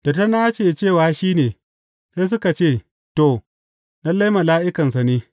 Da ta nace cewa shi ne, sai suka ce, To, lalle, mala’ikansa ne.